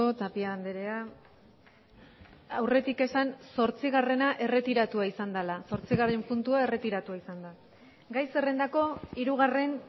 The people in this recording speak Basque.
tapia andrea aurretik esan zortzigarrena erretiratua izan dela zortzigarren puntua erretiratua izan da gai zerrendako hirugarren